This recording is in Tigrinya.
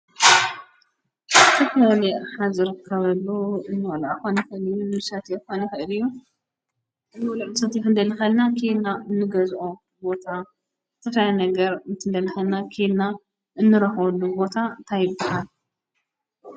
ተኽኒ ሓዝር ከበሉ እንልኣኾኒፈን እዩን ምሳት የኳኒኸእድዩ ውልምተትሕንደልኸልና ኪንልና እንገዝኦ ቦታ ተሣይ ነገር ምትንደልሐልና ኬልና እንረኅሉ ቦታ ታይ ይብሃል?